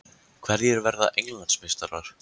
Hverjir verða Englandsmeistarar?